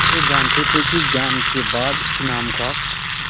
वे जानते थे कि ज्ञान के बाद ईमान का